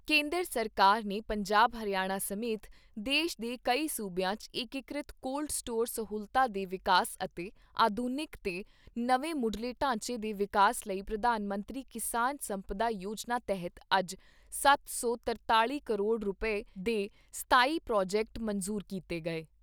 ਕੇਂਦਰ ਸਰਕਾਰ ਨੇ ਪੰਜਾਬ ਹਰਿਆਣਾ ਸਮੇਤ ਦੇਸ਼ ਦੇ ਕਈ ਸੂਬਿਆਂ 'ਚ ਏਕੀਕ੍ਰਿਤ ਕੋਲਡ ਸਟੋਰ ਸਹੂਲਤਾਂ ਦੇ ਵਿਕਾਸ ਅਤੇ ਆਧੁਨਿਕ ਤੇ ਨਵੇਂ ਮੁੱਢਲੇ ਢਾਂਚੇ ਦੇ ਵਿਕਾਸ ਲਈ ਪ੍ਰਧਾਨ ਮੰਤਰੀ ਕਿਸਾਨ ਸੰਪਦਾ ਯੋਜਨਾ ਤਹਿਤ ਅੱਜ ਸੱਤ ਸੌ ਤਰਤਾਲ਼ੀ ਕਰੋੜ ਰੁਪਏ ਦੇ ਸਤਾਈ ਪ੍ਰੋਜੈਕਟ ਮਨਜ਼ੂਰ ਕੀਤੇ ਗਏ।